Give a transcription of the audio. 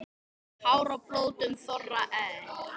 Hár á blótum þorra er.